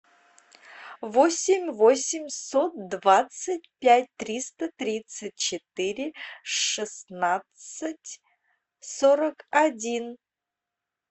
восемь восемьсот двадцать пять триста тридцать четыре шестнадцать сорок один